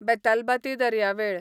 बेतालबाती दर्यावेळ